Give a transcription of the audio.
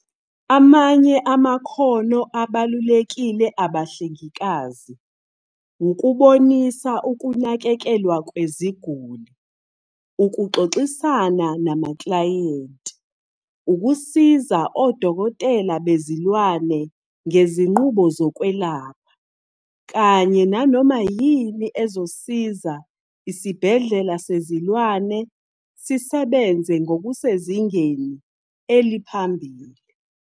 "Amanye amakhono abalulekile abahlengikazi wukubonisa ukunakekelwa kweziguli, ukuxoxisana namaklayenti, ukusiza odokotela bezilwane ngezinqubo zokwelapha, kanye nanoma yini ezosiza isibhedlela sezilwane sisebenze ngokusezingeni eliphambili.